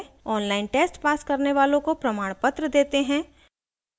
online test pass करने वालों को प्रमाणपत्र देते हैं